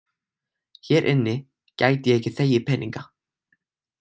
Hér inni gæti ég ekki þegið peninga.